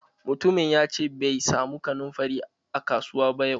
Mutumin yace bai samu kanunfari a kasuwa ba yau.